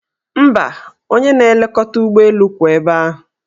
Mba, onye na-elekọta ụgbọelu kwụ ebe ahụ.